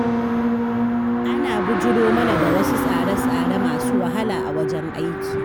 An bijiro mana da wasu tsare-tsare masu wahala a wajen aiki.